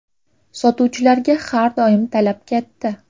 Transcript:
Sotuvchilarga har doim talab katta.